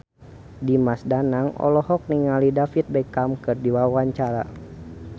Dimas Danang olohok ningali David Beckham keur diwawancara